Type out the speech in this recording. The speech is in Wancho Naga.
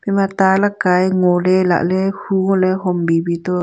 ema ta likaye ngole lale hu ngole huole hom bibi to.